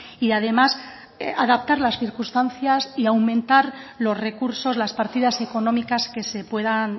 y además adaptar las circunstancias y aumentar los recursos las partidas económicas que se puedan